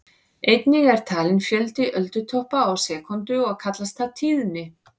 Einnig er talinn fjöldi öldutoppa á sekúndu og kallast það tíðni.